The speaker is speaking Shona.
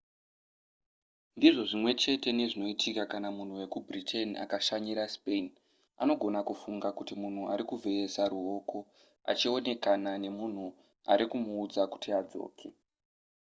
ndizvo zvimwe chete nezvinoitika kana munhu wekubritain akashanyira spain anogona kufunga kuti munhu ari kuvheyesa ruoko achionekana nemunhu ari kutomuudza kuti adzoke